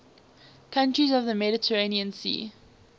countries of the mediterranean sea